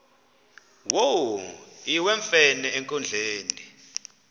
wo iwemfene enkundleni